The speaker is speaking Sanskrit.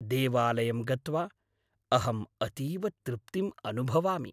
देवालयं गत्वा अहम् अतीव तृप्तिम् अनुभवामि।